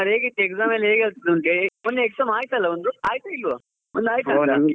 ಹೇಗಿತ್ತು exam ಎಲ್ಲ ಹೇಗ್ ಆಗ್ತಾ ಉಂಟು ಮೊನ್ನೆ exam ಆಯ್ತಲ್ವಾ ಒಂದು ಆಯ್ತಾ ಇಲ್ವಾ ಒಂದ್ ಆಯ್ತಲ್ವಾ .